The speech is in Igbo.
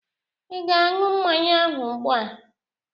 Ị ga añyu mmanya ahụ ụgbua?